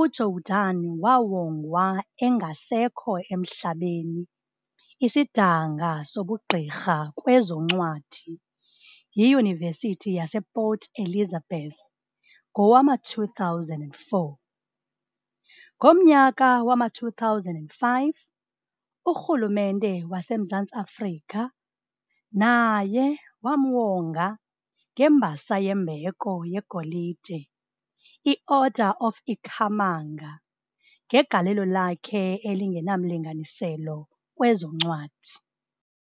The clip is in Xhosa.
uJordan wawonga engasekho emhlabeni isidanga sobugqirha kwezoncwadi yiYunivesithi yasePort Elizabeth ngowama-2004. Ngomnyaka wama-2005 uRhulumente waseMzantsi Afrika naye wamuwonga ngembasa yembheko yeGolide i-Order of Ikhamanga ngegalelo lakhe elingenamlinganiselo kwezoncwadi.